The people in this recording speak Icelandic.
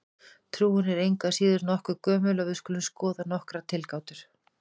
Trúin er engu að síður nokkuð gömul og við skulum skoða nokkrar tilgátur.